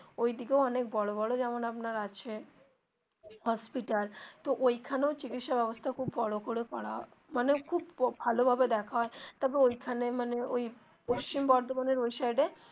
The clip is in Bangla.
ঐদিকেও অনেক বড়ো বড়ো যেমন আপনার আছে hospital তো ঐখানেও চিকিৎসা ব্যবস্থা খুব বড়ো করে করা মানে খুব ভালো ভাবে দেখা হয় তবে ঐখানে মানে ওই পশ্চিম বর্ধমান এর ওই সাইড এ.